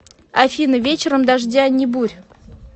афина вечером дождя ни бурь